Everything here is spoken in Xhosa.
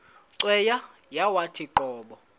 cweya yawathi qobo